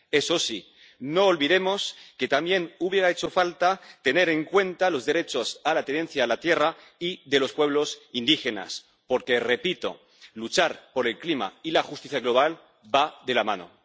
Eso sí, no olvidemos que también hubiera hecho falta tener en cuenta los derechos a la tenencia de la tierra y de los pueblos indígenas porque, repito, luchar por el clima y la justicia global van de la mano.